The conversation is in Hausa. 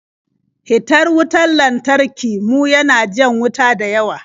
Hitar wutar lantarki mu ya na jan wuta dayawa.